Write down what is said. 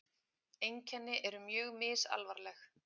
Einkenni eru mjög misalvarleg.